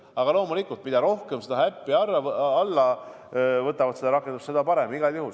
Aga loomulikult, mida rohkem inimesi seda rakendust ehk äppi alla laadib ja kasutab, seda parem igal juhul.